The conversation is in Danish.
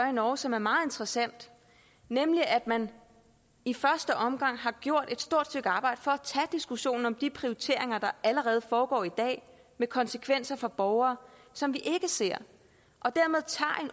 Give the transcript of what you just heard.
i norge som er meget interessante nemlig at man i første omgang har gjort et stort stykke arbejde for at tage diskussionen om de prioriteringer der allerede foregår i dag med konsekvenser for borgere som vi ikke ser